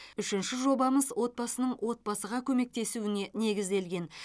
үшінші жобамыз отбасының отбасыға көмектесуіне негізделген